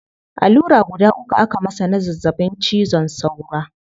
Allura guda uku aka masa na zazzabin cizon saura